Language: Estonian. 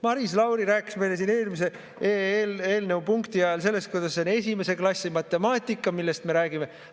Maris Lauri rääkis meile siin eelmise punkti ajal sellest, kuidas see on esimese klassi matemaatika, millest me räägime.